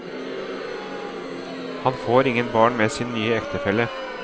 Han får ingen barn med sin nye ektefelle.